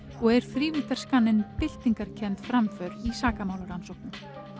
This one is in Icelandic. og er þrívíddarskanninn byltingarkennd framför í sakamálarannsóknum